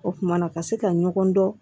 O kumana ka se ka ɲɔgɔn dɔn